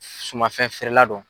Sumanfɛn feerela dɔ.